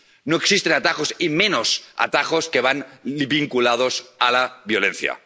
No existen atajos y menos atajos que van vinculados a la violencia.